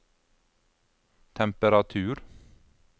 temperatur